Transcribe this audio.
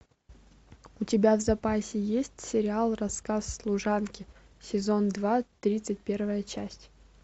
у тебя в запасе есть сериал рассказ служанки сезон два тридцать первая часть